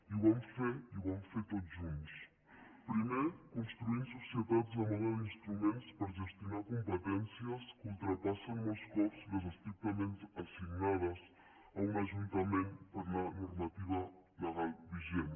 i ho vam fer i ho vam fer tots junts primer construint societats a mode d’instruments per gestionar competències que ultrapassen molts cops les estrictament assignades a un ajuntament per la normativa legal vigent